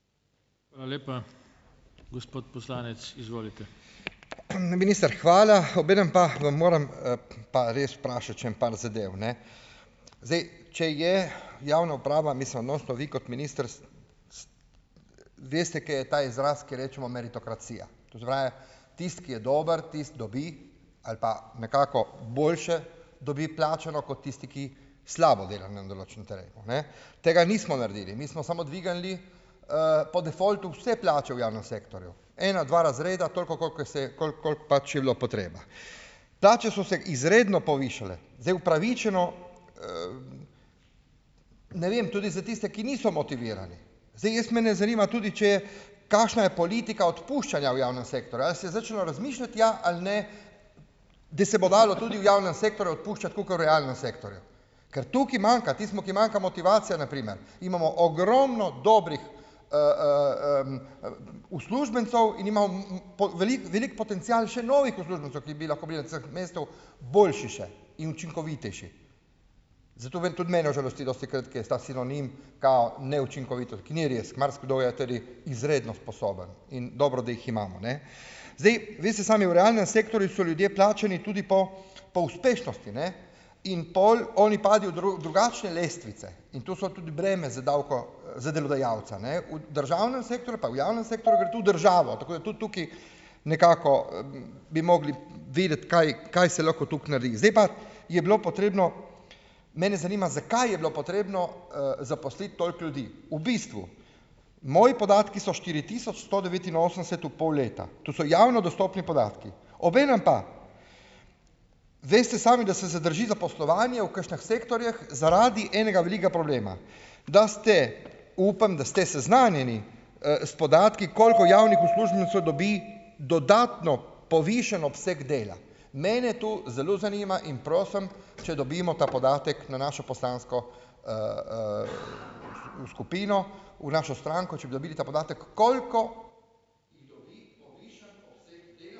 Hvala lepa. Gospod poslanec, izvolite. minister, hvala. Obenem pa vam moram pa res vprašati še en par zadev, ne. Zdaj, če je javna uprava, mislim, vi kot minister veste, kaj je ta izraz, ko rečemo meritokracija. To se pravi, tisti, ki je dober, tisti dobi, ali pa nekako boljše dobi plačano kot tisti, ki slabo dela na določenem terenu, ne. Tega nismo naredili. Mi smo samo dvignili, po defaultu vse plače v javnem sektorju. Ena, dva razreda, toliko, kolikor se, koliko, koliko pač je bilo potreba. Plače so se izredno povišale. Zdaj, upravičeno, ne vem, tudi za tiste, ki niso motivirani. Zdaj, jaz me ne zanima, tudi če, kakšna je politika odpuščanja v javnem sektorju. Jaz se začel razmišljati, ali ja ali ne, da se bo dalo tudi v javnem sektorju odpuščati tako kot v realnem sektorju. Ker tukaj manjka, tistim, ki manjka motivacija na primer. Mi imamo ogromno dobrih, uslužbencev in velik, velik potencial še novih uslužbencev, ki bi lahko bili na mestu boljši še in učinkovitejši. Zato tudi mene užalosti dostikrat, ki je ta sinonim, kao, neučinkovito. Ni res, marsikdo tudi izredno sposoben. In dobro, da jih imamo, ne. Zdaj, vi ste sami v realnem sektorju, so ljudje plačani tudi po, po uspešnosti, ne. In pol oni pazijo drugačne lestvice. In tu so tudi breme za za delodajalca, ne. V državnem pa v javnem sektorju sektorju gre tudi državo. Tako je tudi tukaj nekako bi, bi mogli videti, kaj, kaj se lahko tako naredi. Zdaj pa je bilo potrebno, mene zanima, zakaj je bilo potrebno, zaposliti toliko ljudi? V bistvu, moji podatki so štiri tisoč sto devetinosemdeset v pol leta. To so javno dostopni podatki. Obenem pa, zdaj ste sami, da se zadrži zaposlovanje v kakšnih sektorjih zaradi enega velikega problema. Da ste, upam, da ste seznanjeni, s podatki, koliko javnih uslužbencev dobi dodatno, povišan obseg dela. Mene to zelo zanima in prosim, če dobimo ta podatek na našo poslansko, skupino, v našo stranko, če bi dobili ta podatek, koliko ...